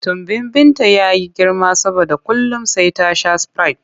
Tumbin Binta ya yi girma saboda kullum sai ta sha sprite.